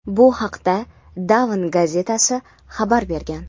Bu haqda "Dawn" gazetasi xabar bergan.